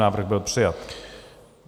Návrh byl přijat.